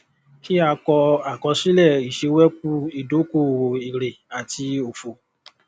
kí a kọ àkọsílẹ ìṣewẹkú ìdókòòwò èrè àti òfò